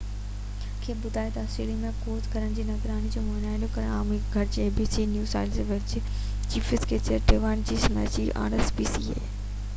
rspca New South Wales جي chief inspector David O'Shaughnessy abc کي ٻڌايو تہ آسٽريليا ۾ ڪوس گهرن جي نگراني ۽ معائنو ڪرڻ عام هجڻ گهرجي